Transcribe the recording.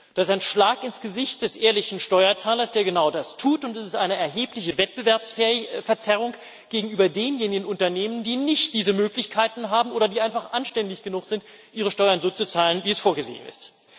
Das ist ein Schlag ins Gesicht des ehrlichen Steuerzahlers, der genau das tut, und es ist eine erhebliche Wettbewerbsverzerrung gegenüber denjenigen Unternehmen, die nicht diese Möglichkeiten haben oder die einfach anständig genug sind, ihre Steuern so zu zahlen, wie es vorgesehen ist.